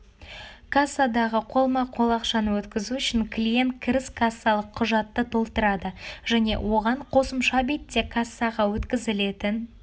кассадағы қолма-қол ақшаны өткізу үшін клиент кіріс кассалық құжатты толтырады және оған қосымша бетте кассаға өткізілетін